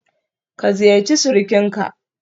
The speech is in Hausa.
Ka ziyarci surukinka?